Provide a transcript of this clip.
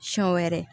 Siɲɛ wɛrɛ